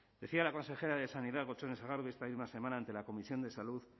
decía la consejera de sanidad gotzone sagardui esta misma semana ante la comisión de salud